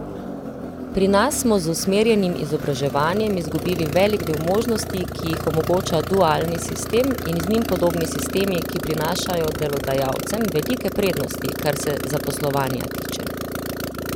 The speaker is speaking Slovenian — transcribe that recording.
Pri nas smo z usmerjenim izobraževanjem izgubili velik del možnosti, ki jih omogoča dualni sistem in njim podobni sistemi, ki prinašajo delodajalcem velike prednosti, kar se zaposlovanja tiče.